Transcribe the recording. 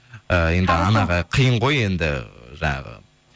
ы енді анаға қиын ғой енді жаңағы